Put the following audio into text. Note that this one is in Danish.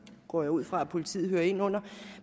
går jeg ud fra at politiet hører ind under